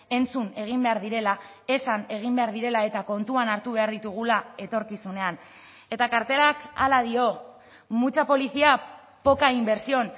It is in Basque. entzun egin behar direla esan egin behar direla eta kontuan hartu behar ditugula etorkizunean eta kartelak hala dio mucha policía poca inversión